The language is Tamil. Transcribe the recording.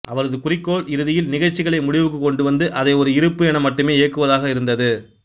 அவரது குறிக்கோள் இறுதியில் நிகழ்ச்சிகளை முடிவுக்குக் கொண்டு வந்து அதை ஒரு இருப்பு என மட்டுமே இயக்குவதாக இருந்தது